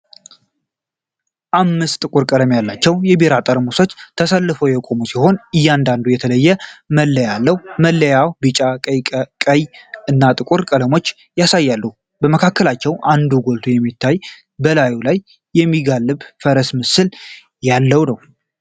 አምስት ጥቁር ቀለም ያላቸው የቢራ ጠርሙሶች ተሰልፈው የቆሙ ሲሆን፣ እያንዳንዱም የተለየ መለያ አለው። መለያዎቹ ቢጫ፣ ቀይ እና ጥቁር ቀለሞችን ያሳያሉ፣ ከመካከላቸው አንዱ ጎልቶ የሚታየው በላዩ ላይ የሚጋልብ ፈረሰኛ ምስል ያለው ነው።